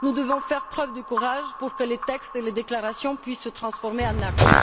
Nous devons faire preuve de courage pour que les textes et les déclarations puissent se transformer en actes.